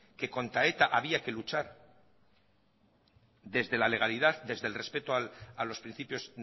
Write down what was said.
que contra eta había que luchar desde la legalidad desde el respeto a los principios